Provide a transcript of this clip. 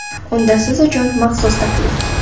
Unda siz uchun maxsus taklif!